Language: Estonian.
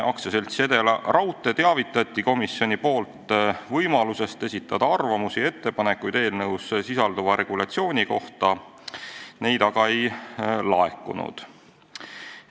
Komisjon teavitas AS-i Edelaraudtee võimalusest esitada arvamusi ja ettepanekuid eelnõus sisalduvate sätete kohta, neid aga ei laekunud.